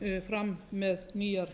fram með nýjar